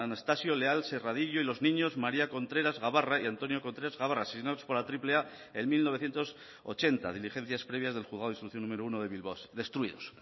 anastasio leal serradillo y los niños maría contreras gabarra y antonio contreras gabarra asesinados por la triple a en mil novecientos ochenta diligencias previas del juzgado de instrucción número uno de bilbao destruidos